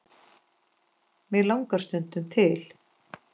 mig langar stundum til.